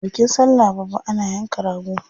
A bikin sallah babba ana yanka rago.